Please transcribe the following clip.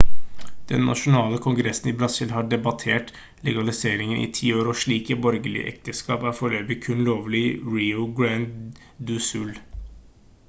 den nasjonale kongressen i brasil har debattert legaliseringen i 10 år og slike borgerlige ekteskap er foreløpig kun lovlig i rio grande do sul